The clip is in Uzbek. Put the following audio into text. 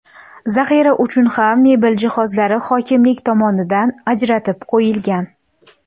Zaxira uchun ham mebel jihozlari hokimlik tomonidan ajratib qo‘yilgan.